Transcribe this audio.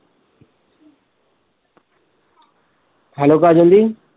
hello Kajal the